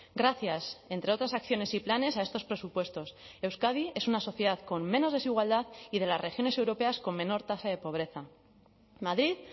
gracias entre otras acciones y planes a estos presupuestos euskadi es una sociedad con menos desigualdad y de las regiones europeas con menor tasa de pobreza madrid